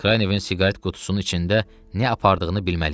Kranyevin siqaret qutusunun içində nə apardığını bilməliyik.